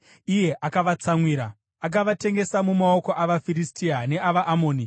iye akavatsamwira. Akavatengesa mumaoko avaFiristia neavaAmoni,